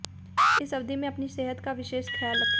इस अवधि में अपनी सेहत का विशेष ख्याल रखें